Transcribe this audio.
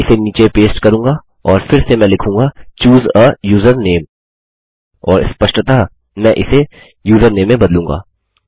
मैं इसे नीचे पेस्ट करूँगा और फिर मैं लिखूँगा चूसे आ यूजरनेम और स्पष्टतः मैं इसे यूजरनेम में बदलूँगा